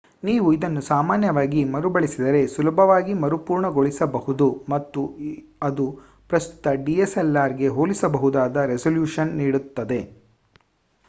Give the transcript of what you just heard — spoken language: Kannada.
ನೀವು ಇದನ್ನು ಸಾಮಾನ್ಯವಾಗಿ ಮರುಬಳಸಿದರೆ ಸುಲಭವಾಗಿ ಮರುಪುರ್ಣಗೊಳಿಸಬಹುದು ಮತ್ತು ಅದು ಪ್ರಸ್ತುತ dslrಗೆ ಹೋಲಿಸಬಹುದಾದ ರೆಸಲ್ಯೂಶನ್ ನೀಡುತ್ತದೆ